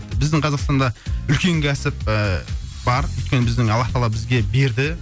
біздің қазақстанда үлкен кәсіп і бар өйткені біздің аллах тағала бізге берді